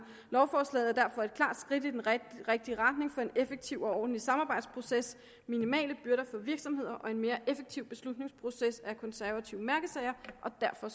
lovforslaget er derfor et klart skridt i den rigtige retning for en effektiv og ordentlig samarbejdsproces minimale byrder for virksomheder og en mere effektiv beslutningsproces er konservative mærkesager og derfor